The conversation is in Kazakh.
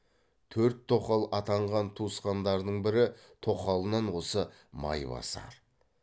төрт тоқал атанған туысқандарының бірі тоқалынан осы майбасар